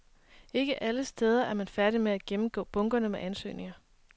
Ikke alle steder er man færdige med at gennemgå bunkerne med ansøgninger.